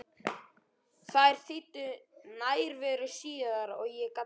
Þær þýddu nærveru síðar og ég gat beðið.